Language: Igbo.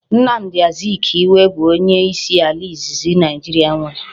Nnamdi Azikiwe bu onye isi ala izizi Naijiria nwere